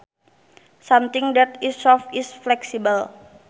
Something that is soft is flexible